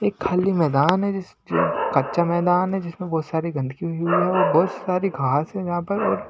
एक खाली मैदान है जिस कच्चा मैदान है जिसमें बहोत सारी गंदगी हुई हुई है और बहोत सारी घास है यहाँ पर और --